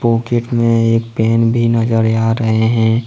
Pocket में एक pen भी नजर आ रहा हैं।